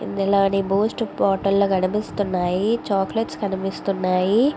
ఇందులోని Boost bottle కనిపిస్తున్నాయి చాక్లెట్ల కనిపిస్తున్నాయి.